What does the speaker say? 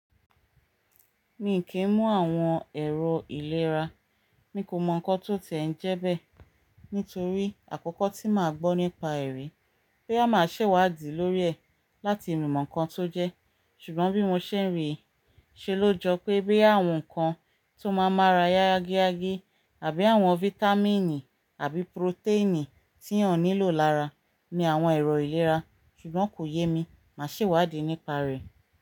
Mi kì í mú àwọn ẹ̀rọ ìlera, mi kò mọ nǹkan tó ti ẹ̀ ń jẹ́ bẹ́ẹ̀ nítorí àkọ́kọ́ tí màá gbọ́ nípa ẹ̀ rèé, bóyá máa ṣèwádìí lórí ẹ̀ láti mọ nǹkan tó jẹ́ ṣùgbọ́n bí mo ṣe ń rí i ṣe ló jọ pé bóyá àwọn nǹkan tó máa n mára yá yágíyágí àbí àwọn fítámìnì àbí protéènì tí èyàn nílò lára ni àwọn ẹ̀rọ̀ ìlera ṣùgbọ́n kò yé mi, màá ṣèwádìí nípa rẹ̀.